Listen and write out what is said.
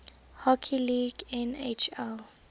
hockey league nhl